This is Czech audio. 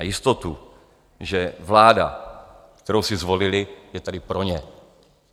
A jistotu, že vláda, kterou si zvolili, je tady pro ně.